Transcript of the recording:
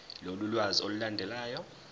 lolu lwazi olulandelayo